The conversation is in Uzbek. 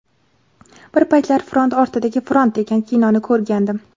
Bir paytlar ‘Front ortidagi front’ degan kinoni ko‘rgandim.